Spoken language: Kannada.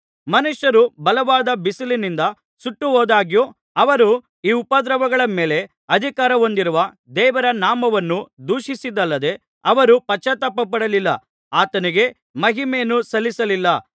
ಮನುಷ್ಯರು ಬಲವಾದ ಬಿಸಿಲಿನಿಂದ ಸುಟ್ಟುಹೋದಾಗ್ಯೂ ಅವರು ಈ ಉಪದ್ರವಗಳ ಮೇಲೆ ಅಧಿಕಾರ ಹೊಂದಿರುವ ದೇವರ ನಾಮವನ್ನು ದೂಷಿಸಿದಲ್ಲದೆ ಅವರು ಪಶ್ಚಾತ್ತಾಪಪಡಲಿಲ್ಲ ಆತನಿಗೆ ಮಹಿಮೆಯನ್ನು ಸಲ್ಲಿಸಲಿಲ್ಲ